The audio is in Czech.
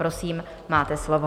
Prosím, máte slovo.